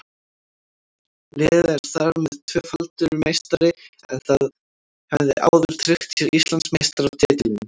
Liðið er þar með tvöfaldur meistari en það hafði áður tryggt sér Íslandsmeistaratitilinn.